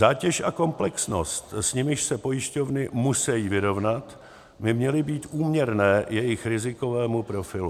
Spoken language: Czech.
Zátěž a komplexnost, s nimiž se pojišťovny musí vyrovnat, by měly být úměrné jejich rizikovému profilu.